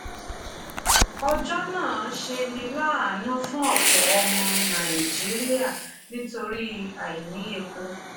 ọjọ́ náà ṣeni láàánú fún ọ̀pọ̀ ọmọ nàìjíríà nítorí àìní epo.